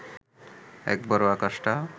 একবারও আকাশটা